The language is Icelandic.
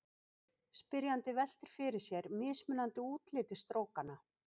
Spyrjandi veltir fyrir sér mismunandi útliti strókanna.